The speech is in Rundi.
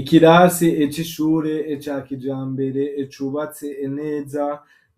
Ikirasi c'ishure, ca kijambere, cubatse neza,